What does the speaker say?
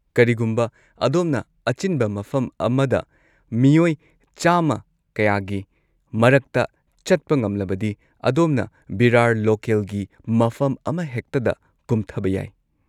ꯀꯔꯤꯒꯨꯝꯕ ꯑꯗꯣꯝꯅ ꯑꯆꯤꯟꯕ ꯃꯐꯝ ꯑꯃꯗ ꯃꯤꯑꯣꯏ ꯆꯥꯃ ꯀꯌꯥꯒꯤ ꯃꯔꯛꯇ ꯆꯠꯄ ꯉꯝꯂꯕꯗꯤ ꯑꯗꯣꯝꯅ ꯚꯤꯔꯥꯔ ꯂꯣꯀꯦꯜꯒꯤ ꯃꯐꯝ ꯑꯃꯍꯦꯛꯇꯗ ꯀꯨꯝꯊꯕ ꯌꯥꯏ꯫